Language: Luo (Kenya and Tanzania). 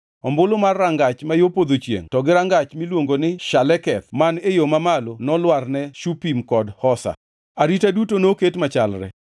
Ombulu mar Rangach ma yo Podho Chiengʼ to gi rangach miluongo ni Shaleketh man e yo mamalo nolwar ne Shupim kod Hosa. Arita duto noket machalre.